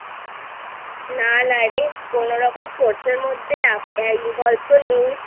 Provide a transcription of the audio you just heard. না নারে কোনোরকম Sports এর মধ্যে Involve তো নেই